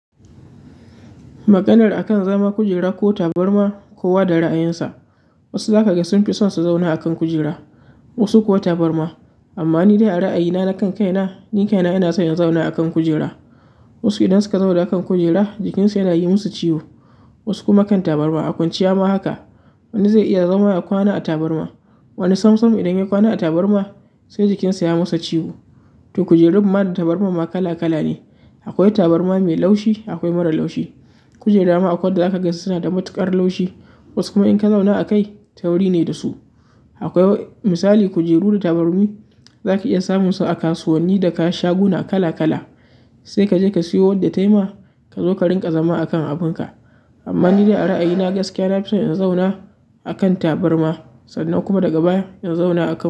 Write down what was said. Maganar akan zaman kujera ko tabarma, kowa da ra'ayinsa. Wasu zaka ga sun fi son su zauna a kan kujera, wasu kuwa tabarma. Amma ni da ra'ayina na kan kaina, ni kaina ina so in zauna a kan kujera. Wasu idan suka zauna a kan kujera jikinsu yana yi musu ciwo, wasu kuma kan tabarma. A kwanciya ma haka, wani zai iya zama ya kwana a tabarma, wani sam sam idan ya kwana a tabarma sai jikinsa ya masa ciwo. To kujerun ma da tabarman ma kala kala ne. Akwai tabarma mai laushi, akwai marara laushi. Kujera ma akwai da zaka ga suna da matuƙar laushi, wasu kuma in ka zauna a kai tauri ne da su. Akwai misali kujeru da tabarmi zaka iya samun su a kasuwanni da shaguna kala kala, sai kaje ka siyo wadda ta yi ma, ka zo ka rinƙa zama a kan abin ka. Amma ni da ra'ayina gaskiya na fi son in zauna a kan tabarma sannan kuma daga baya in zauna a kan.